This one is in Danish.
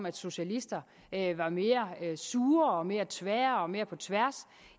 at socialister er mere sure og mere tvære og mere på tværs